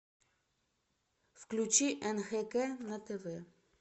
включи нхк на тв